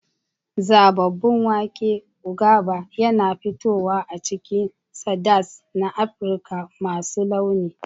Zababun wake, ugaba, yana fitowa a cikin salads na Afirka masu launi.